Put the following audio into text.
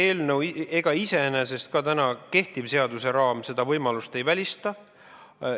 Iseenesest, ka kehtiv seaduseraam seda võimalust ei välista.